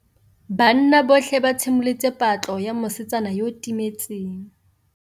Banna botlhê ba simolotse patlô ya mosetsana yo o timetseng.